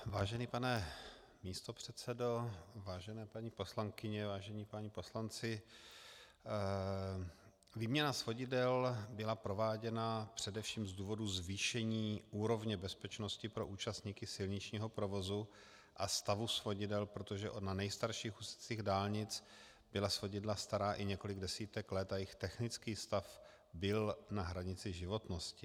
Vážený pane místopředsedo, vážené paní poslankyně, vážení páni poslanci, výměna svodidel byla prováděna především z důvodu zvýšení úrovně bezpečnosti pro účastníky silničního provozu a stavu svodidel, protože na nejstarších úsecích dálnic byla svodidla stará i několik desítek let a jejich technický stav byl na hranici životnosti.